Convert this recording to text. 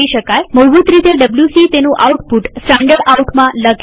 મૂળભૂત રીતે ડબ્લ્યુસી તેનું આઉટપુટ standardoutમાં લખે છે